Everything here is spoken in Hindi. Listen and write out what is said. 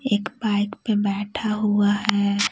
एक बाइक पे बैठा हुआ है।